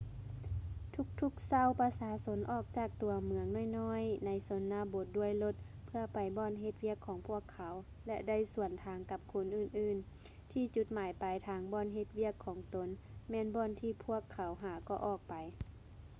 ທຸກໆເຊົ້າ ປະຊາຊົນອອກຈາກຕົວເມືອງນ້ອຍໆໃນຊົນນະບົດດ້ວຍລົດ ເພື່ອໄປບ່ອນເຮັດວຽກຂອງພວກເຂົາ ແລະ ໄດ້ສວນທາງກັບຄົນອື່ນໆ ທີ່ຈຸດໝາຍປາຍທາງບ່ອນເຮັດວຽກຂອງຕົນ ແມ່ນບ່ອນທີ່ພວກເຂົາຫາກໍອອກໄປ